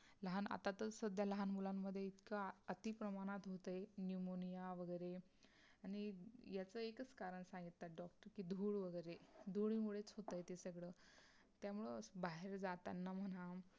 लहान आता तर सध्या लहान मुलांमध्ये इतका अती प्रमाणात होतंय pneumonia वगरे आणि याच एकाच कारण सांगतात doctor की धूळ वगैरे. धूळ मुळेच होतंय ते सगळं त्यामुळे बाहेर जाताना म्हणा